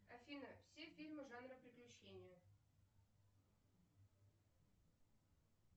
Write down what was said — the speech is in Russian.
афина все фильмы жанра приключения